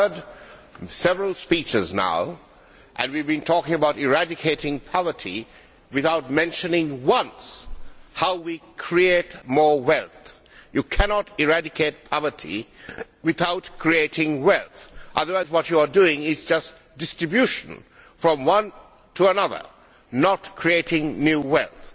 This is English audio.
I have heard several speeches now and we have been talking about eradicating poverty without once mentioning how we create more wealth. You cannot eradicate poverty without creating wealth, otherwise what you are doing is just distributing from one to another, not creating new wealth.